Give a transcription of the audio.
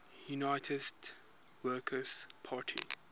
united workers party